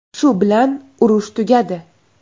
Shu bilan urush tugadi.